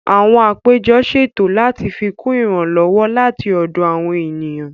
Àwọn àpéjọ ṣètò láti fikún ìrànlọ́wọ́ láti ọ̀dọ̀ àwọn ènìyàn